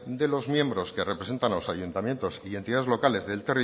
de los miembros que representan a los ayuntamientos y entidades locales